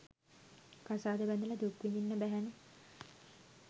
කසාද බැඳලා දුක් විඳින්න බැහැනේ.